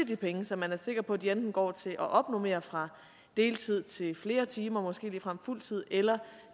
de penge så man er sikker på de enten går til at opnormere fra deltid til flere timer måske ligefrem fuld tid eller